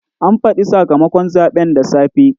An faɗi sakamakon zaɓen da safe.